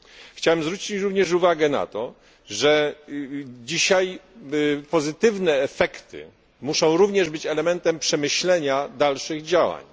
Chciałbym zwrócić również uwagę na to, że dzisiaj pozytywne efekty muszą również być elementem przemyślenia dalszych działań